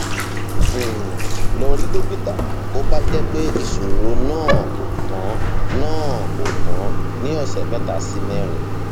um lọ rí dókítà bó bá jẹ pé ìṣòro náà kò tán náà kò tán ní ọsẹ mẹta sí mẹrin